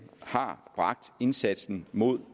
har bragt indsatsen mod